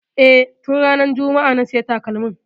E, tun ranar juma'a na sayi takalmin.